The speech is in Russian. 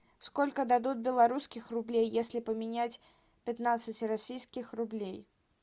сколько дадут белорусских рублей если поменять пятнадцать российских рублей